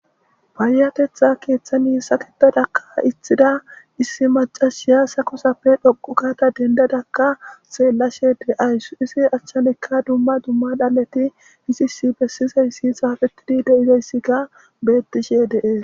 Paayatetha keeththani saketadakka itthida issi macashiyasa kusappe dhoqu kaata dendadakka seellashe de7ayssu isi achchanekka dumma dumma dhaleti isisi bessizayssi saafetidi deizayssi ga bettishe deees.